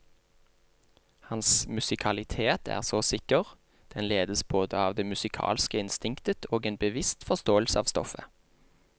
Hans musikalitet er så sikker, den ledes både av det musikalske instinktet og en bevisst forståelse av stoffet.